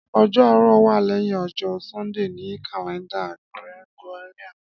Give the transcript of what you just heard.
Ọjọ Aarọ wa lẹhin ọjọ Sundee ni kalẹnda Gregorian